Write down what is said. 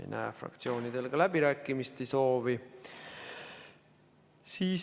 Ei näe fraktsioonidel ka läbirääkimiste soovi.